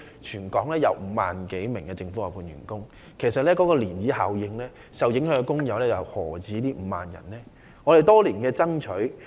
全港有5萬多名政府外判員工，在漣漪效應下，受影響的工友又豈止5萬人呢？